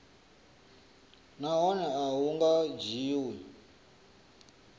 nahone a hu nga dzhiwi